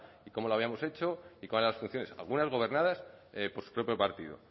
cómo la habíamos hecho y cuáles eran las funciones algunas gobernadas por su propio partido